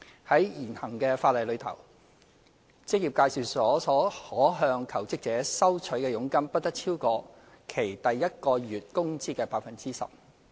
在現行法例下，職業介紹所可向求職者收取的佣金不得超過其第一個月工資的 10%。